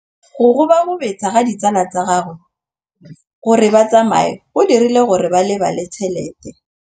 Go gobagobetsa ga ditsala tsa gagwe, gore ba tsamaye go dirile gore a lebale tšhelete.